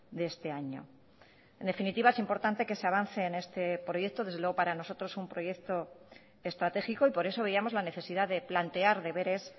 de este año en definitiva es importante que se avance en este proyecto desde luego para nosotros un proyecto estratégico y por eso veíamos la necesidad de plantear deberes